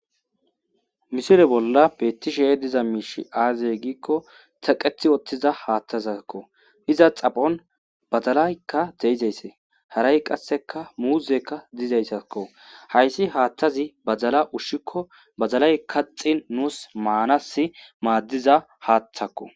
misile bolla beettishee diza miishi aazey giikko taqethi woththiza haaththazakko iza xaphon bazalaykka deizaysse haray qasseka muuzekka diizeyssakko hayssi haathtazi bazala ushshikko bazalay kaxin nuus maanas maaddiza haaththakko